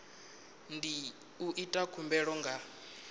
ndi u ita khumbelo nga